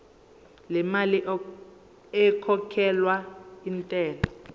lemali ekhokhelwa intela